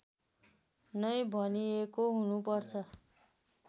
नै भनिएको हुनुपर्छ